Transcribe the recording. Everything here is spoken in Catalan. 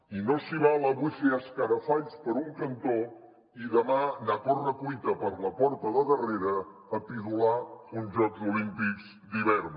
i no s’hi val avui fer escarafalls per un cantó i demà anar a correcuita per la porta de darrere a pidolar uns jocs olímpics d’hivern